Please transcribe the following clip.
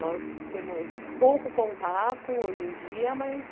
Nós temos pouco contato hoje em dia, mas